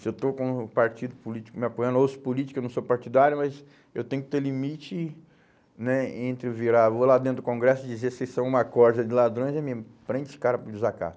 Se eu estou com o partido político me apoiando, ou os políticos, eu não sou partidário, mas eu tenho que ter limite né, entre virar, vou lá dentro do Congresso e dizer que vocês são uma de ladrões e me prende os cara por desacato.